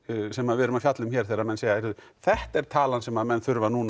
sem við erum að fjalla um hér þegar menn segja heyrðu þetta er talan sem menn þurfa að